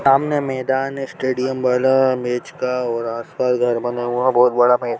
सामने मैदान है स्टेडियम बना है मैच का आसपास घर बना हुआ बहुत--